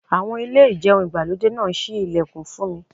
Àwọn.... Ilé ìjẹun ìgbàlódé náà ṣí ilẹ̀kùn fún mi.